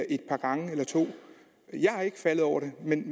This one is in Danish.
et par gange eller to og ikke faldet over det men